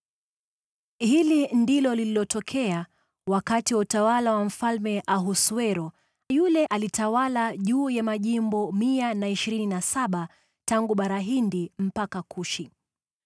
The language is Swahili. Hili ndilo lililotokea wakati wa utawala wa Mfalme Ahasuero, yule aliyetawala juu ya majimbo mia na ishirini na saba tangu Bara Hindi hadi Kushi.